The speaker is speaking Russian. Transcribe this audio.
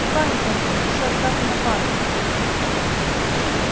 и память антон ещё оставлена память